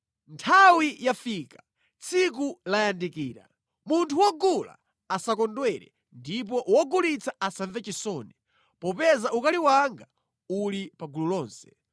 Nthawi yafika! Tsiku layandikira! Munthu wogula asakondwere ndipo wogulitsa asamve chisoni, popeza ukali wanga uli pa gulu lonse.